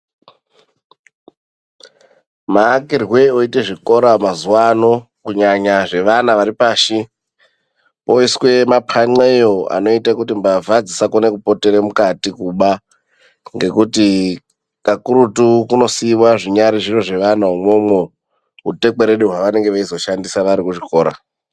Maakirwe oitwa zvikora mazuwa ano kunyanya zvevana vari pashi oiswa mapanxeyo anoita kuti mbavha dzisakona kupotera mukati kuba. Ngekuti kakurutu kunosiiwa zvinyari zviro zvevana imwomwo. Utekwerede hwevanenge veizoshandisa vari kuchikora.